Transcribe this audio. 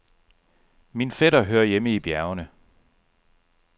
Min fætter hører hjemme i bjergene.